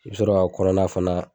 I b'i sɔrɔ ka kɔnɔnna fana.